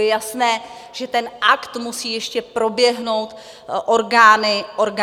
Je jasné, že ten akt musí ještě proběhnout orgány té obce.